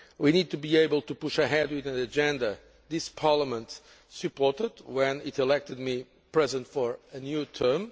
We need to be able to push ahead with an agenda this Parliament supported when it elected me President for a new term.